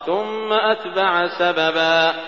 ثُمَّ أَتْبَعَ سَبَبًا